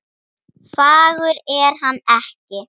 Pissaðu á þig.